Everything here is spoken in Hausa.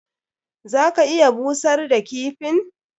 Za ka iya busar da kifin.